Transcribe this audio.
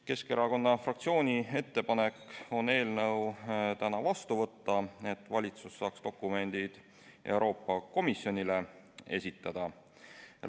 Keskerakonna fraktsiooni ettepanek on eelnõu täna vastu võtta, et valitsus saaks dokumendid Euroopa Komisjonile esitada.